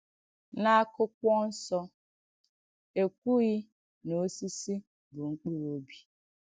N’Àkụ̀kwọ̀ Nsọ, è kwùghì nà òsìsì bụ̀ mkpụrụ̀ òbì.